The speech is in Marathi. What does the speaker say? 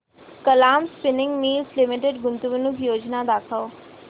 कलाम स्पिनिंग मिल्स लिमिटेड गुंतवणूक योजना दाखव